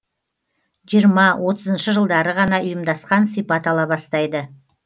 жиырма отызыншы жылдары ғана ұйымдасқан сипат ала бастайды